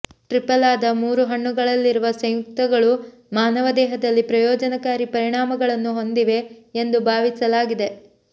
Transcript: ಟ್ರಿಫಲಾದ ಮೂರು ಹಣ್ಣುಗಳಲ್ಲಿರುವ ಸಂಯುಕ್ತಗಳು ಮಾನವ ದೇಹದಲ್ಲಿ ಪ್ರಯೋಜನಕಾರಿ ಪರಿಣಾಮಗಳನ್ನು ಹೊಂದಿವೆ ಎಂದು ಭಾವಿಸಲಾಗಿದೆ